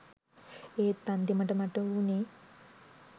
ඒත් අන්තිමට මට වුණේ